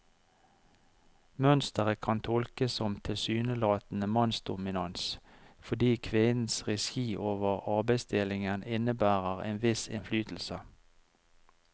Mønstret kan tolkes som tilsynelatende mannsdominans, fordi kvinnens regi over arbeidsdelingen innebærer en viss innflytelse.